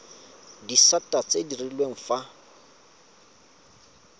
disata tse di direlwang fa